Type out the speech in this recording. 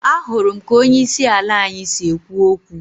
Ahụrụ m ka onye isi ala anyị si ekwu okwu